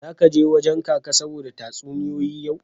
Zaka je wajen Kaka saboda tatsuniyoyi yau.